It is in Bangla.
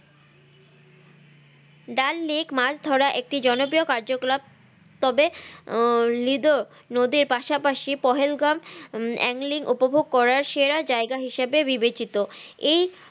মাছ ধরার একটি জনপ্রিয় কার্যকলাপ তবে আহ লিদো নদীর পাশাপাশি পহেল গাম আহ eng link উপভোগ করার সেরা জায়গা হিসাবে বিবেচিত এই